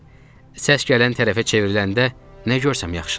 Səs gələn tərəfə çevriləndə nə görsəm yaxşıdır.